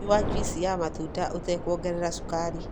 Nyua juici ya matunda ũtekuongerera cukari.